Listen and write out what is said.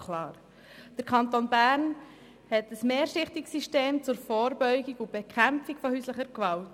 Der Kanton Bern hat ein mehrschichtiges System zur Vorbeugung und Bekämpfung von häuslicher Gewalt.